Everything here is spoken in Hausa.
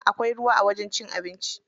Akwai ruwa a wajen cin abinci.